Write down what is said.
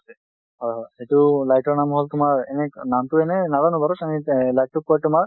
হয়, হয়। এইটো light ৰ নাম হল তোমাৰ এনে নামটো এনে নাজানো বাৰু, light তোক কয় তোমাৰ